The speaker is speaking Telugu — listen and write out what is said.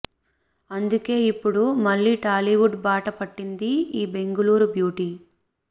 అందుకే ఇప్పుడు మళ్లీ టాలీవుడ్ బాట పట్టింది ఈ బెంగళూరు బ్యూటీ